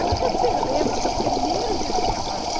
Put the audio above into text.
Agora, você lembra o seu primeiro dia de trabalho?